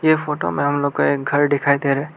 ये फोटो में हम लोग को एक घर दिखाई दे रहा है।